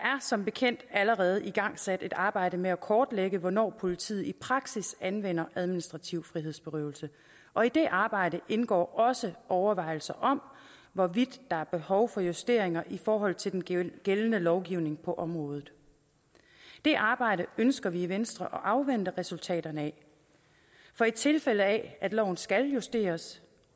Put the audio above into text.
som bekendt allerede igangsat et arbejde med at kortlægge hvornår politiet i praksis anvender administrativ frihedsberøvelse og i det arbejde indgår også overvejelser om hvorvidt der er behov for justeringer i forhold til den gældende lovgivning på området det arbejde ønsker vi i venstre at afvente resultaterne af for i tilfælde af at loven skal justeres